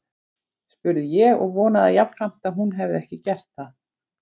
spurði ég og vonaði jafnframt að hún hefði ekki gert það.